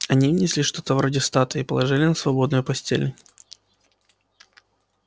они внесли что-то вроде статуи и положили на свободную постель